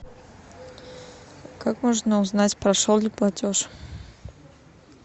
как можно узнать прошел ли платеж